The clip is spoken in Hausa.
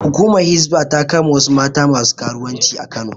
Hukumar Hisba ta kama wasu mata masu karuwanci a Kano